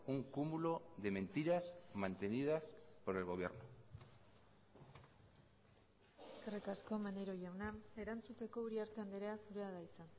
un cúmulo de mentiras mantenidas por el gobierno eskerrik asko maneiro jauna erantzuteko uriarte andrea zurea da hitza